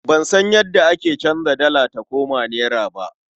Ban san yadda ake canza dala ta koma nera ba.